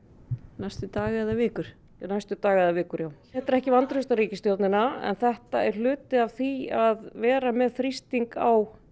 næstu daga eða vikur næstu daga eða vikur þetta er ekki vantraust á ríkisstjórnina en þetta er hluti af því að vera með þrýsting á